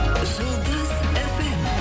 жұлдыз фм